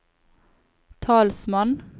talsmann